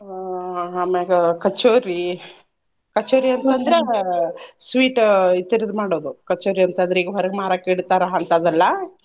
ಆಹ್ ಆಮ್ಯಾಗ ಕಚೋರಿ. ಕಚೋರಿ ಅಂತ್ ಅಂದ್ರ ಆಹ್ sweet ಇತರ್ದ್ ಮಾಡೋದು. ಕಚೋರಿ ಅಂತ್ ಅಂದ್ರ ಈಗ ಹೊರಗ್ ಮಾರಾಕ್ ಇಡ್ತಾರ ಅಂತಾದೆಲ್ಲಾ.